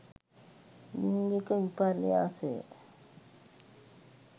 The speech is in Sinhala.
ලිංගික විපර්යාසය